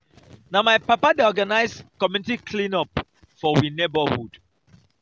na my papa dey organise community clean-up for we neborhood.